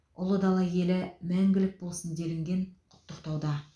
ұлы дала елі мәңгілік болсын делінген құттықтауда